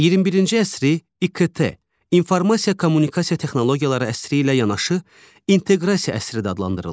21-ci əsri İKT, informasiya kommunikasiya texnologiyaları əsri ilə yanaşı inteqrasiya əsri də adlandırırlar.